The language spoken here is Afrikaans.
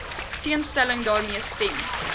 teenstelling daarmee stem